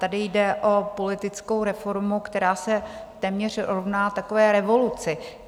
Tady jde o politickou reformu, která se téměř rovná takové revoluci.